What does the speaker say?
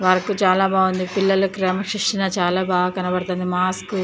Work చాలా బాగుంది. పిల్లల క్రమశిక్షణలో చాలా బాగా కనపడుతుంది. మాస్కో --